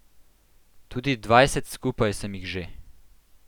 Tudi dvajset skupaj sem jih že.